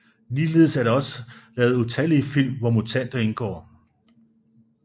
Ligeledes er der også lavet utallige film hvor mutanter indgår